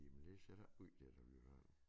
Men det ser da ikke ud til at vi får det